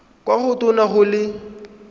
kwa go tona go le